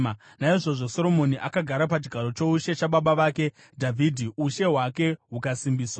Naizvozvo Soromoni akagara pachigaro choushe chababa vake Dhavhidhi, ushe hwake hukasimbiswa.